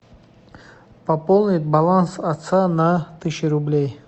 пополнить баланс отца на тысячу рублей